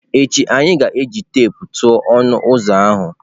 Echi anyị ga-eji teepu tụọ ọnụ ụzọ ahụ.